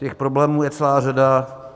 Těch problémů je celá řada.